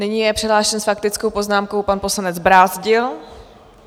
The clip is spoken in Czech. Nyní je přihlášen s faktickou poznámkou pan poslanec Brázdil.